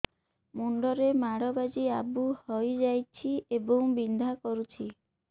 ମୁଣ୍ଡ ରେ ମାଡ ବାଜି ଆବୁ ହଇଯାଇଛି ଏବଂ ବିନ୍ଧା କରୁଛି